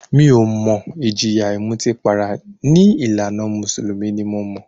Mi ò mọ̀, ìjìyà ìmutípara ní ìlànà mùsùlùmí ni mo mọ̀.